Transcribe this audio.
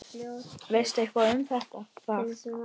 Veistu eitthvað um það?